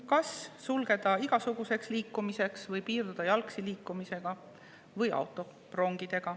Kas sulgeda igasuguseks liikumiseks või piirduda jalgsi liikumisega või rongidega?